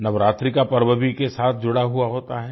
नवरात्रि का पर्व भी इसके साथ जुड़ा होता है